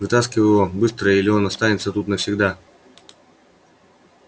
вытаскивай его быстро или он останется тут навсегда